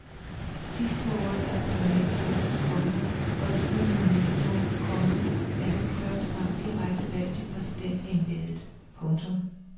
Sidst på året er der parlamentsvalg, komma og i begyndelsen af næste år, komma er der for første gang direkte valg til præsidentembedet. punktum